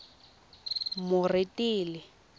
moretele